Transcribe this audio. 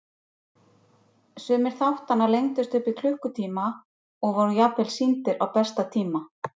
Sumir þáttanna lengdust upp í klukkutíma og voru jafnvel sýndir á besta tíma.